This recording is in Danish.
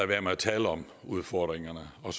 være med at tale om udfordringerne og